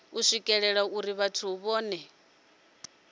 u swikelelwa uri vhathu vhohe